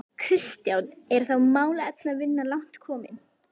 Kristján: Er þá málefnavinna langt komin?